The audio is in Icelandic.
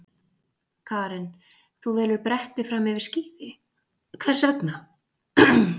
Karen: Þú velur bretti fram yfir skíði, hvers vegna?